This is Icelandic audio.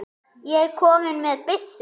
ég er kominn með byssu!